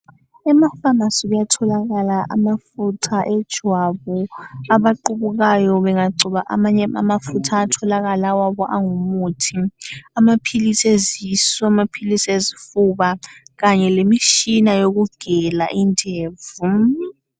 Ema pharmacy kuyatholakala amafutha ejwabu abaqubukayo bengagcoba amanye amafutha ayatholakala awabo angumuthi amaphilisi ezisu amaphilisi ezifuba kanye lemitshina yokugela indevu.